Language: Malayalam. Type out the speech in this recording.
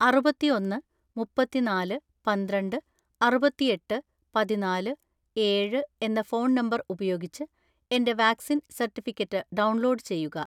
അറുപത്തിഒന്ന് മുപ്പത്തിനാല് പന്ത്രണ്ട് അറുപത്തിഎട്ട് പതിനാല് ഏഴ്‌ എന്ന ഫോൺ നമ്പർ ഉപയോഗിച്ച് എന്റെ വാക്‌സിൻ സർട്ടിഫിക്കറ്റ് ഡൗൺലോഡ് ചെയ്യുക.